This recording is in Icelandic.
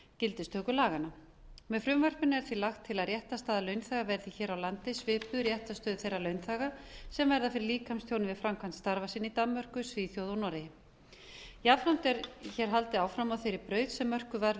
gildistöku laganna með frumvarpinu er því lagt til að réttarstaða launþega verði hér á landi svipuð réttarstöðu þeirra launþega sem verða fyrir líkamstjóni við framkvæmd starfa sinna í danmörku svíþjóð og noregi jafnframt er hér haldið áfram á þeirri braut sem mörkuð var við